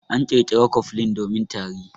An ƙirƙira cofflin domin tari.